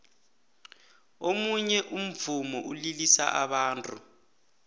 omunye umvumo ulilisa abantu